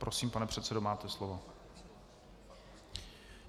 Prosím, pane předsedo, máte slovo.